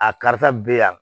A karisa be yan